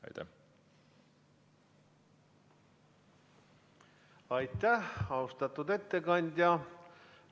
Aitäh, austatud ettekandja!